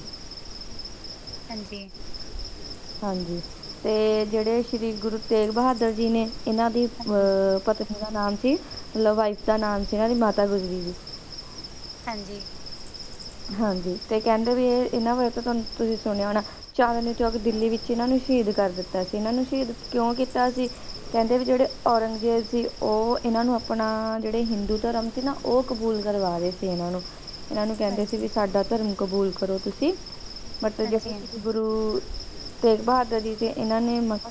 ਮਤਲਬ ਜਿਹੜੇ ਸ਼੍ਰੀ ਗੁਰੂ ਤੇਗ ਬਹਾਦਰ ਜੀ ਨੇ ਇਹਨਾਂ ਨੇ